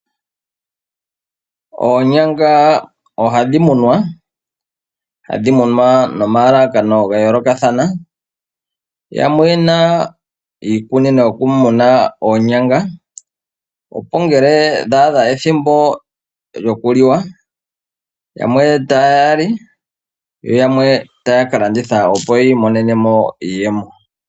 Oonyanga ohadhi munwa, hadhi munwa no ma yooloko ga yoolokathana. Yamwe oyena iikunino yo ku muna oonyanga opo ngele dha adha ethimbo lyo kuliwa, yamwe ta yali, yo yamwe taya ka landitha opo yi imonene iimaliwa.